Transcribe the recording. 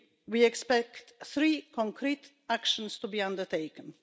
We expect three concrete actions to be undertaken.